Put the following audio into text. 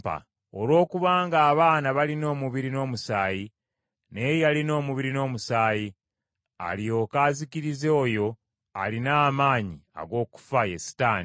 Olw’okubanga abaana balina omubiri n’omusaayi, naye yalina omubiri n’omusaayi, alyoke azikirize oyo alina amaanyi ag’okufa, ye Setaani.